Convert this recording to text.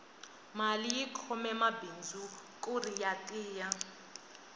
mali yi khome mabindzu kuri ya tiya